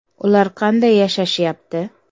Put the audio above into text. Ular qanday yashashyapti?